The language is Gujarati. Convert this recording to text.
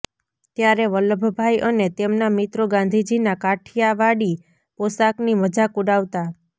ત્યારે વલ્લભભાઇ અને તેમના મિત્રો ગાંધીજીના કાઠિયાવાડી પોષાકની મજાક ઉડાવતા